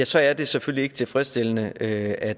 så er det selvfølgelig ikke tilfredsstillende at